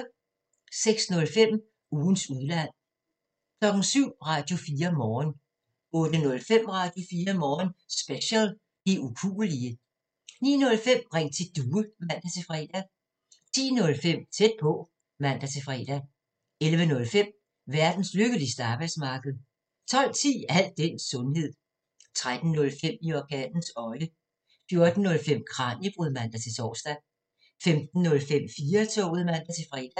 06:05: Ugens udland 07:00: Radio4 Morgen 08:05: Radio4 Morgen Special: De ukuelige 09:05: Ring til Due (man-fre) 10:05: Tæt på (man-fre) 11:05: Verdens lykkeligste arbejdsmarked 12:10: Al den sundhed 13:05: I orkanens øje 14:05: Kraniebrud (man-tor) 15:05: 4-toget (man-fre)